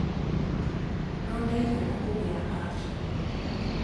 No ndaigana kũgĩa anja.